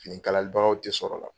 Fini kalalibagaw tɛ sɔrɔla